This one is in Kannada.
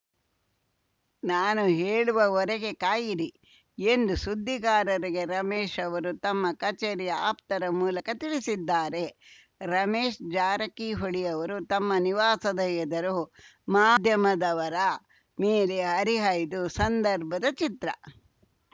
ನಾನು ಹೇಳುವವರೆಗೆ ಕಾಯಿರಿ ಎಂದು ಸುದ್ದಿಗಾರರಿಗೆ ರಮೇಶ್ ಅವರು ತಮ್ಮ ಕಚೇರಿಯ ಆಪ್ತರ ಮೂಲಕ ತಿಳಿಸಿದ್ದಾರೆ ರಮೇಶ್ ಜಾರಕಿಹೊಳಿ ಅವರು ತಮ್ಮ ನಿವಾಸದ ಎದುರು ಮಾಧ್ಯಮದವರ ಮೇಲೆ ಹರಿಹಾಯ್ದು ಸಂದರ್ಭದ ಚಿತ್ರ